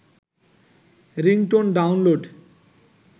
ringtone download